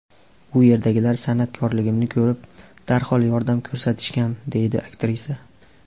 U yerdagilar san’atkorligimni ko‘rib, darhol yordam ko‘rsatishgan”, deydi aktrisa.